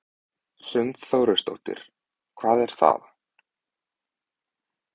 Hrund Þórsdóttir: Hvað er það?